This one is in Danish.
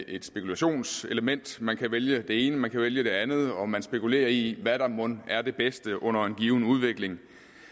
et spekulationenselement man kan vælge det ene man kan vælge det andet og man spekulerer i hvad der mon er det bedste under en given udvikling